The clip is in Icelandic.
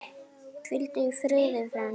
Hvíldu í friði, frændi.